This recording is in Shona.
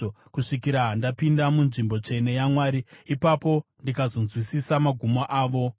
kusvikira ndapinda munzvimbo tsvene yaMwari; ipapo ndikazonzwisisa magumo avo.